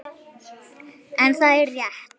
En það er rétt.